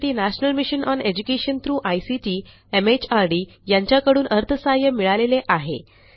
यासाठी national mission on education through ICT MHRD यांच्याकडून अर्थसहाय्य मिळालेले आहे